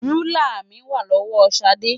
Rúlà mi wà lọ́wọ́ Ṣadé.